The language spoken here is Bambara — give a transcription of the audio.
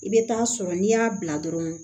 I bɛ taa sɔrɔ n'i y'a bila dɔrɔn